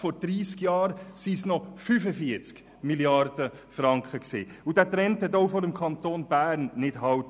Im Jahr 1987, vor 30 Jahren, waren es noch 45 Mrd. Franken, und dieser Trend machte auch vor dem Kanton Bern nicht halt.